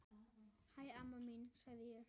Hæ, amma mín, segi ég.